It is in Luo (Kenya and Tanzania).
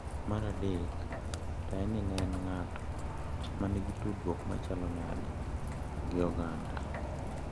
Mar adek to en ni ne en ng`ato manigi tudruok machalo nade gi oganda?